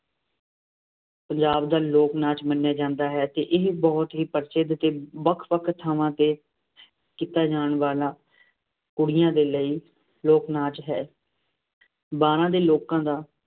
ਪੰਜਾਬ ਦਾ ਲੋਕ ਨਾਚ ਮੰਨਿਆ ਜਾਂਦਾ ਹੈ ਅਤੇ ਇਹ ਬਹੁਤ ਹੀ ਪ੍ਰਸਿੱਧ ਅਤੇ ਵੱਖ ਵੱਖ ਥਾਵਾਂ ਤੇ ਕੀਤਾ ਜਾਣ ਵਾਲਾ ਕੁੜੀਆਂ ਦੇ ਲਈ ਲੋਕ ਨਾਚ ਹੈ। ਬਾਰਾਂ ਦੇ ਲੋਕਾਂ ਦਾ